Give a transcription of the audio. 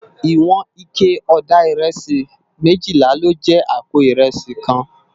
Iwòn iké òdá irèsí méjìlá ló jè àpó irèsí kán